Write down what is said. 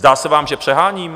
Zdá se vám, že přeháním?